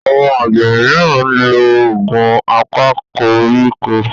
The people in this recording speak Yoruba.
Àwọn àgbẹ míràn nlọ Òògùn apakoríko